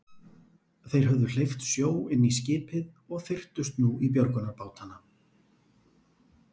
Þeir höfðu hleypt sjó inn í skipið og þyrptust nú í björgunarbátana.